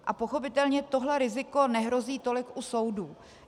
A pochopitelně tohle riziko nehrozí tolik u soudů.